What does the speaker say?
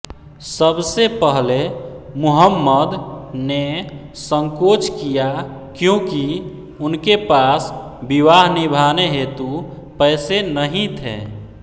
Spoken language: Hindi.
सबसे पहले मुहम्मद ने संकोच किया क्योंकि उनके पास विवाह निभाने हेतु पैसे नहीं थे